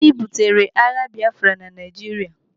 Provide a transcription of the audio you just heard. Gịnị butere agha Biafra na Naijiria?